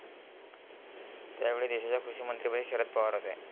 त्यावेळीदेशाच्या कृषीमंत्रीपदी शरद पवार होते.